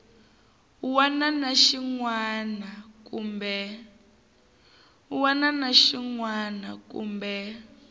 wana na xin wana kumbe